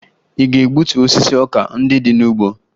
Ị ga-egbutu osisi ọka ndị dị n'ugbo!